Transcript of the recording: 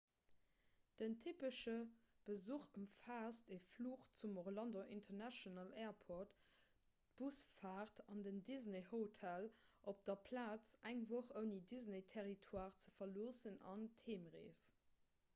den typesche besuch ëmfaasst e fluch zum orlando international airport d'busfaart an en disney-hotel op der plaz eng woch ouni den disney-territoire ze verloossen an d'heemrees